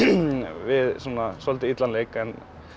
við svolítið illan leik en